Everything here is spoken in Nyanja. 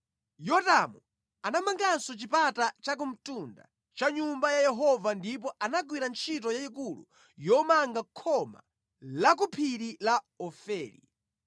Yotamu anamanganso chipata chakumtunda cha Nyumba ya Yehova ndipo anagwira ntchito yayikulu yomanga khoma la ku phiri la Ofeli.